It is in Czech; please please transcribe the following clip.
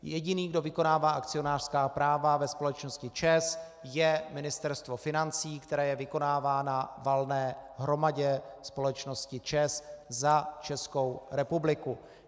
Jediný, kdo vykonává akcionářská práva ve společnosti ČEZ, je Ministerstvo financí, které je vykonává na valné hromadě společnosti ČEZ za Českou republiku.